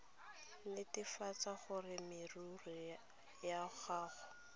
netefatsa gore merero ya gago